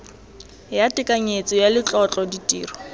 ya tekanyetso ya letlotlo ditiro